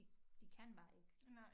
De de kan bare ikke